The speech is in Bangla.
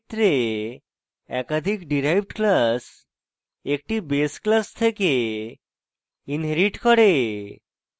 এক্ষেত্রে একাধিক derived classes একটি base classes থেকে inherit করে